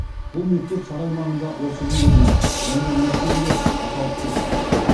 бұл мектеп сарай маңында осы күнге дейін жәңгір мектебі деп аталып кетті